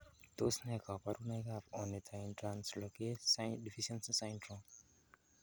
Tos nee koborunoikab Ornithine translocase deficiency syndrome?